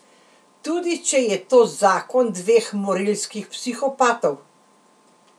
Tudi če je to zakon dveh morilskih psihopatov.